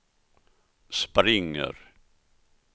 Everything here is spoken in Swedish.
springer